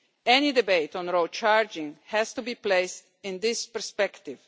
Any debate on road charging has to be placed in this perspective.